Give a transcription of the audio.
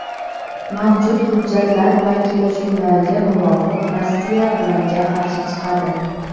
mavjud hujjatlar va kelishuvlarga muvofiq Rossiya ularga qarshi chiqadi.